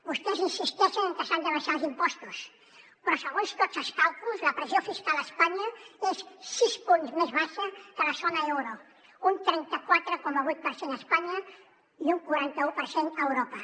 vostès insisteixen en què s’han d’abaixar els impostos però segons tots els càlculs la pressió fiscal a espanya és sis punts més baixa que la zona euro un trenta quatre coma vuit per cent a espanya i un quaranta u per cent a europa